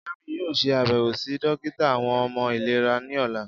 Jamiu yoo ṣe abẹwo si dokita awọn ọmọ ilera ni ọla.